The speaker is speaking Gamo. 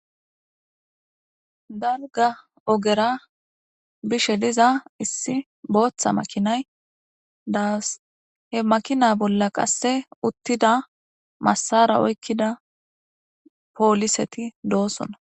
Darga ogera bishe diza issi booththa makinay daas he makina bolla qasse uttida massara oykkida pooliseti doosona